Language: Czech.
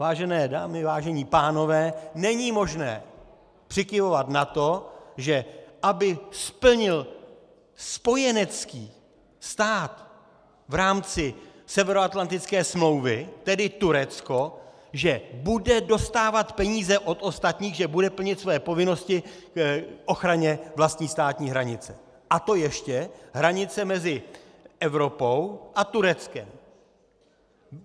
Vážené dámy, vážení pánové, není možné přikyvovat na to, že aby splnil spojenecký stát v rámci Severoatlantické smlouvy, tedy Turecko, že bude dostávat peníze od ostatních, že bude plnit své povinnosti k ochraně vlastní státní hranice, a to ještě hranice mezi Evropou a Tureckem.